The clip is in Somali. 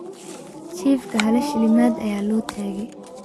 Chifkaa hala shilimad aya lotagey.